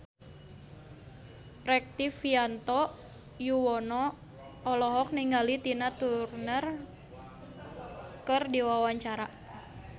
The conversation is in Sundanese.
Rektivianto Yoewono olohok ningali Tina Turner keur diwawancara